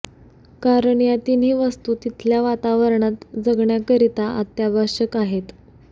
कारण या तिन्ही वस्तू तिथल्या वातावरणात जगण्याकरिता अत्यावश्यक आहेत